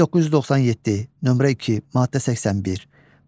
1997, nömrə 2, maddə 81.